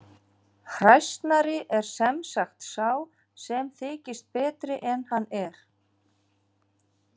Hræsnari er sem sagt sá sem þykist betri en hann er.